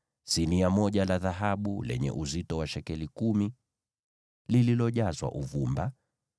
sinia moja la dhahabu lenye uzito wa shekeli kumi, likiwa limejazwa uvumba;